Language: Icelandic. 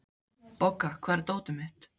Bogga, hvar er dótið mitt?